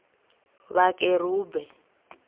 vhakerube